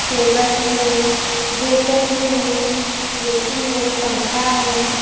Table भी है waiter भी हैं ऐ_सी है पंखा है।